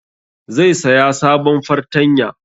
Zai saya sabon fartanya